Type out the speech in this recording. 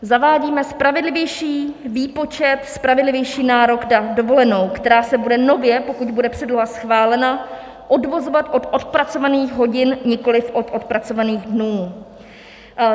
Zavádíme spravedlivější výpočet, spravedlivější nárok na dovolenou, která se bude nově, pokud bude předloha schválena, odvozovat od odpracovaných hodin, nikoli od odpracovaných dnů.